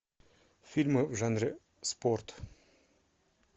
фильмы в жанре спорт